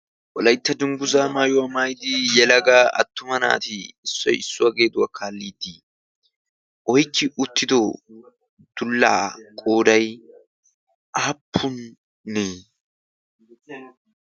olaytta dunggusaa maayuwaa maaydi yelaga attuma naati issoyssuwaageetuwaa kaalliiddii oykki uttido dullaa qooday aappunne?